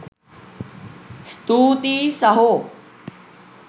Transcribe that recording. ස්තූතියි සහෝ!